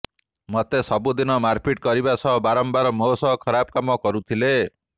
ମତେ ସବୁଦିନ ମାରପିଟ୍ କରିବା ସହ ବାରମ୍ବାର ମୋ ସହ ଖରାପ କାମ କରୁଥିଲେ